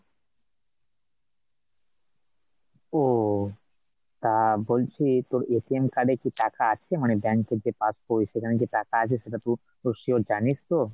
ওঃ তা বলছি তোর card এ কি টাকা আছে? মানে bank এর যে পাসবই সেখানে কি টাকা আছে? সেটা তু তু sure জানিস তো ?